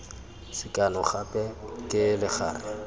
sekano gape ke legare la